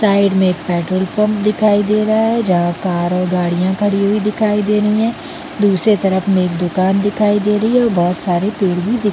Side में एक petrol pump दिखाई दे रहा है जहाँ कार और गाड़ियाँ खड़ी हुई दिखाई दे रही है। दूसरे तरफ में एक दुकान दिखाई दे रही है और बहोत सारे पेड़ भी--